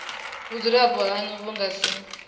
vhudzulapo hanu vhu nga si